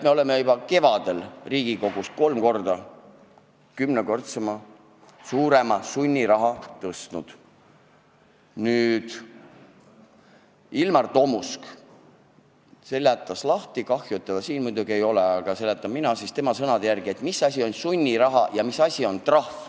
Ilmar Tomusk seletas lahti – kahju muidugi, et teda siin ei ole, ma seletan siis tema sõnade järgi –, mis asi on sunniraha ja mis asi on trahv.